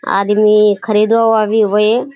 आदमी खरीदोवाभी ओये।